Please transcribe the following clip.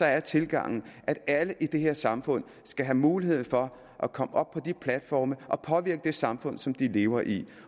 er tilgangen at alle i det her samfund skal have mulighed for at komme op på de platforme og påvirke det samfund som de lever i